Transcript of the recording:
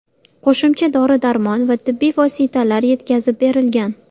Qo‘shimcha dori-darmon va tibbiy vositalar yetkazib berilgan.